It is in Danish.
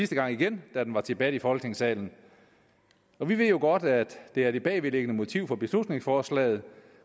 gang igen da den var til debat i folketingssalen vi ved jo godt at det er det bagvedliggende motiv for beslutningsforslaget